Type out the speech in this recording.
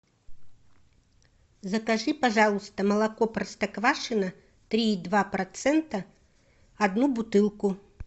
закажи пожалуйста молоко простоквашино три и два процента одну бутылку